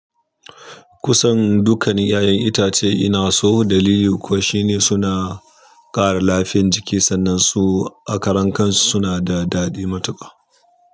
Kusan dukkanin 'ya'yan itace ina so dalili kuwa shine suna ƙara lafiyan jiki jiki sannan su akaran kansu suna da daɗi matuƙa.